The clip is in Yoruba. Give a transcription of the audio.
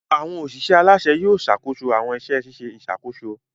Awọn oṣiṣẹ alaṣẹ Yóò ṣakoso awọn iṣẹ ṣiṣe iṣakoso